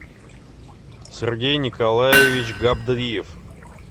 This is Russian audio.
сергей николаевич габдриев